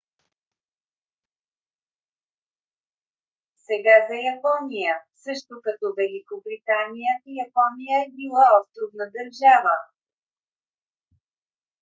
сега за япония. също като великобритания япония е била островна държава